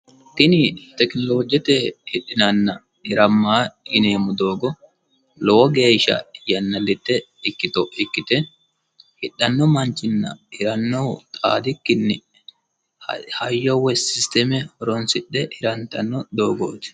tini tekinolojete hidhinanninna hirammanni yineemmo doogo lowo geeshsha yannilitte ikkito ikkite hidhanno manchinna hirannohu xaadikki hayyo woyi sisteme horonsidhe hirantanno doogooti.